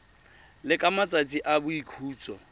le ka matsatsi a boikhutso